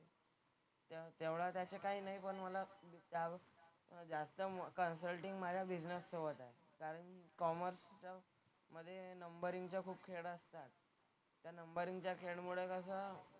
त्या तेवढा त्याचा काही नाही पण मला त्यावर जास्त मला कन्सल्टिंग माझा बिझनेस वर हवा आहे. कारण कॉमर्सचं मधे नंबरिंगचं खूप खेळ असतात. तर नंबरिंगच्या खेळमुळे कसं,